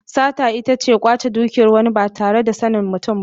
Sata ita ce kwace dukiyar wani ba tare da sanin mutum ba.